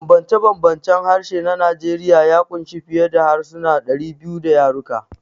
Bambance-bambancen harshe na Najeriya ya ƙunshi fiye da harsuna 200 da yaruka.